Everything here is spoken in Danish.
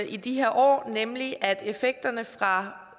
i de her år nemlig at effekterne fra